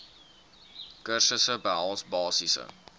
kursusse behels basiese